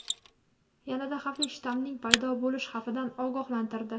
yanada xavfli shtammining paydo bo‘lishi xavfidan ogohlantirdi.